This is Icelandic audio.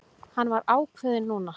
Hann var ákveðinn núna.